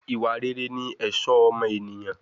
Ìwà rere ni ẹ̀ṣọ́ ọmọ ènìyàn